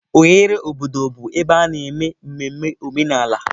Oghere obodo bụ ebe a na-eme mmemme omenala.